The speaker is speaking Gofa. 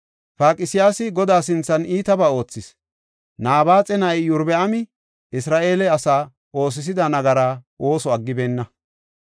Paqsiyaasi Godaa sinthan iitabaa oothis; Nabaaxa na7ay Iyorbaami Isra7eele asa oosisida nagaraa ooso aggibeenna.